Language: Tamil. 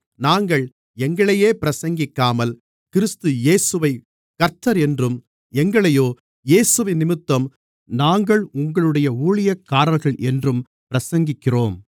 நாங்கள் எங்களையே பிரசங்கிக்காமல் கிறிஸ்து இயேசுவைக் கர்த்தர் என்றும் எங்களையோ இயேசுவினிமித்தம் நாங்கள் உங்களுடைய ஊழியக்காரர்கள் என்றும் பிரசங்கிக்கிறோம்